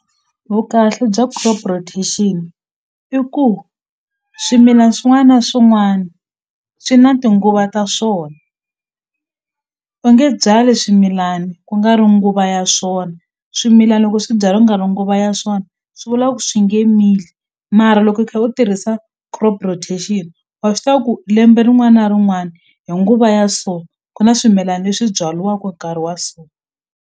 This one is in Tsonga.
Vukahle bya crop rotation i ku swimilana swin'wana na swin'wana swi na tinguva ta swona u nge byali swimilani ku nga ri nguva ya swona swimilana loko swi byariwa ku nga ri nguva ya swona swi vula ku swi nge mili mara loko u kha u tirhisa crop rotation wa swi tiva ku lembe rin'wana na rin'wana hi nguva ya so ku na swimilana leswi byaliwaku hi nkarhi wa so.